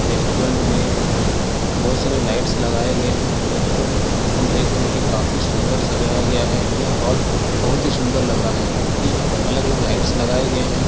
Restaurant में बहुत सारे लाइट्स लगाए गए हैं रेस्टोरेन्ट हम देख रहे है की काफी सुंदर सजाया गया है यह हॉल बहुत ही सुंदर लग रहा है क्यूंकि यहाँ पर अलग-अलग लाइट्स लगाए गए है।